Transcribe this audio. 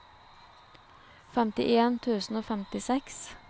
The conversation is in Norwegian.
femtifem tusen og femtiseks